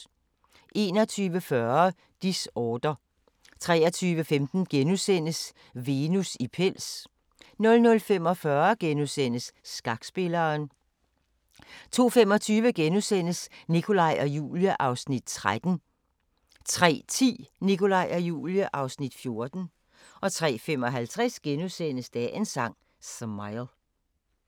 21:40: Disorder 23:15: Venus i pels * 00:45: Skakspilleren * 02:25: Nikolaj og Julie (Afs. 13)* 03:10: Nikolaj og Julie (Afs. 14) 03:55: Dagens Sang: Smile *